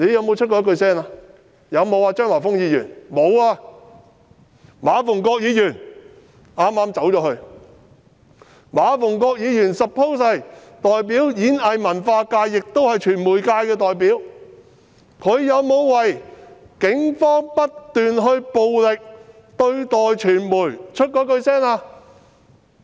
馬逢國議員——他剛離開會議廳——馬逢國議員是演藝文化界的代表，亦是傳媒界的代表，他有沒有就警方不斷以暴力對待傳媒說過一句話？